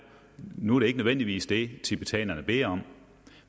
nu er det ikke nødvendigvis det tibetanerne beder om